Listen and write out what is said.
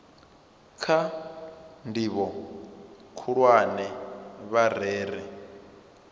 kha ndivho khulwane vha rere